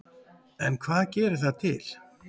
En hvað gerir það til